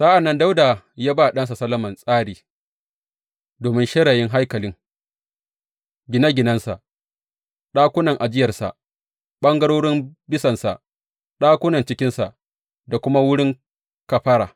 Sa’an nan Dawuda ya ba ɗansa Solomon tsari domin shirayin haikalin, gine ginensa, ɗakunan ajiyarsa, ɓangarorin bisansa, ɗakunan cikinsa da kuma wurin kafara.